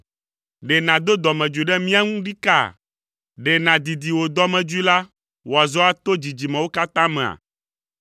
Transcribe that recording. Ɖe nàdo dɔmedzoe ɖe mía ŋu ɖikaa? Ɖe nàdidi wò dɔmedzoe la wòazɔ ato dzidzimewo katã mea?